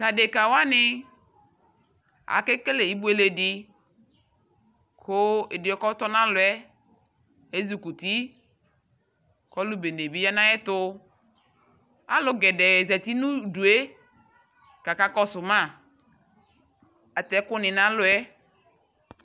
Ta deka wane ake kele ibule de ko ɛdeɛ kɔtɔ nalɔɛ ezukuti kɔlu bene be ya nayɛtoAlu gɛdɛɛ zari no udue kaka kɔso ma Atɛ ɛku ne nalɔɛ